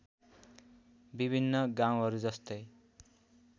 विभिन्न गाउँहरू जस्तै